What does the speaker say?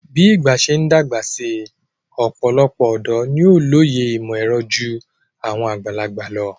Bí ìgbà ṣe ń dàgbà si ọ̀pọ̀lọpọ̀ ọ̀dọ́ ni ó lóye ìmọ̀-ẹ̀rọ ju àwọn àgbàlagbà lọ.